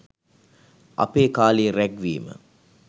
අපේ කාලේ රැග් වීම